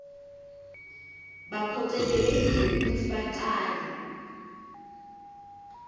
baphocelelekile kutsi bacale